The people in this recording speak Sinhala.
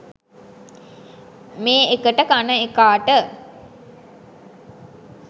මේ එකට කන එකාට